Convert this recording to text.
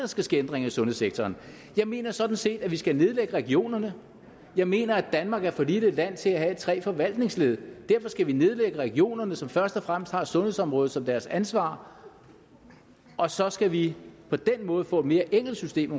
skal ske ændringer i sundhedssektoren jeg mener sådan set at vi skal nedlægge regionerne jeg mener at danmark er for lille et land til at have tre forvaltningsled derfor skal vi nedlægge regionerne som først og fremmest har sundhedsområdet som deres ansvar og så skal vi på den måde få et mere enkelt system